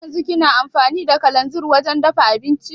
Haryanzun kina amfani da kalanzir wajen dafa abinci?